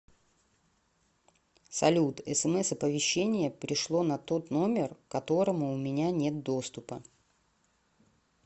салют смс оповещения пришло на тот номер которому у меня нет доступа